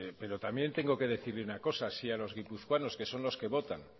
pero también tengo que decirle una cosa si a los guipuzcoanos que son los que votan